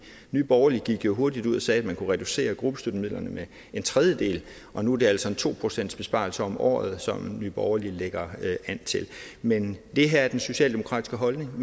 nye borgerlige gik jo hurtigt ud og sagde at man kunne reducere gruppestøttemidlerne med en tredjedel og nu er det altså en to procentsbesparelse om året som nye borgerlige lægger an til men det her er den socialdemokratiske holdning